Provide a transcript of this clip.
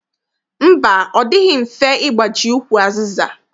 Mba, ọ dịghị mfe ịgbaji ukwu azịza.